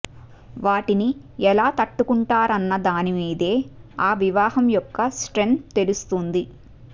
వాటిని ఎలా తట్టుకుంటారన్నదాని మీదే ఆ వివాహం యొక్క స్ట్రెంత్ తెలుస్తుంది